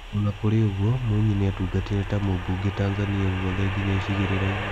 O na kũrĩ ũguo Mwinyi nĩ atungatĩre ta mũbunge Tanzania kũothe nginya icigĩrĩrainĩ.